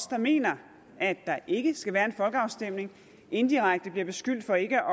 der mener at der ikke skal være en folkeafstemning indirekte bliver beskyldt for ikke